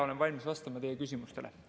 Olen valmis vastama teie küsimustele.